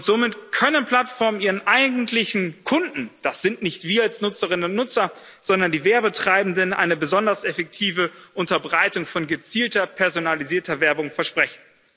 Somit können Plattformen ihren eigentlichen Kunden das sind nicht wir als Nutzerinnen und Nutzer, sondern die Werbetreibenden eine besonders effektive Unterbreitung von gezielter personalisierter Werbung versprechen.